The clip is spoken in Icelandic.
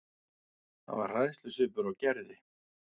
Það var hræðslusvipur á Gerði.